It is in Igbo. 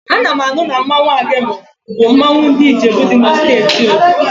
Ana m anụ na mmanwụ Agemo bụ mmanwụ ndị Ijebu dị na Steeti Ogun